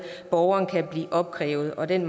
borgeren kan blive opkrævet og den